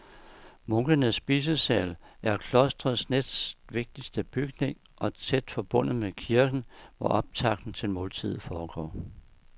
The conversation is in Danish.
Munkenes spisesal er klostrets næstvigtigste bygning og tæt forbundet med kirken, hvor optakten til måltidet foregår.